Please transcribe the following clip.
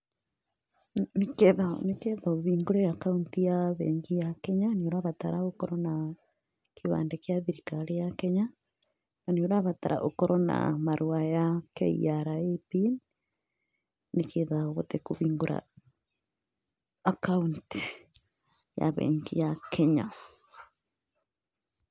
Nĩ getha ũhingũre akaũnti ya bengi ya Kenya nĩ ũrabatara gũkorwo na kĩbandĩ gĩa thirikari ya Kenya, na nĩ ũrabatara ũkorwo na marũa ya KRA Pin, nĩ getha ũhote kũhingũra akaũnti ya bengi ya Kenya.